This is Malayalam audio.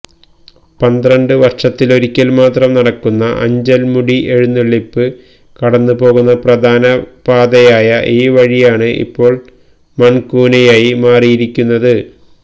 പന്ത്രണ്ട് വര്ഷത്തിലൊരിക്കല് മാത്രം നടക്കുന്ന അഞ്ചല് മുടിഎഴുന്നള്ളിപ്പ് കടന്നുപോകുന്ന പ്രധാന പാതയായ ഈ വഴിയാണ് ഇപ്പോള് മണ്കൂനയായി മാറിയിരിക്കുന്നത്